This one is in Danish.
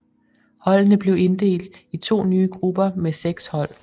Holdene blev inddelt i to nye grupper med seks hold